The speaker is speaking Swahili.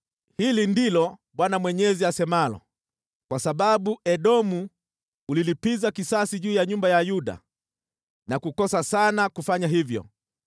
“Hili ndilo Bwana Mwenyezi asemalo: ‘Kwa sababu Edomu ulilipiza kisasi juu ya nyumba ya Yuda na kukosa sana kwa kufanya hivyo,